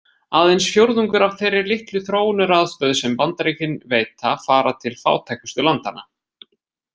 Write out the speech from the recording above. Aðeins fjórðungur af þeirri litlu þróunaraðstoð sem Bandaríkin veita fara til fátækustu landanna.